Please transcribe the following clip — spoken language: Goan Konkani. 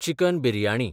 चिकन बिर्याणी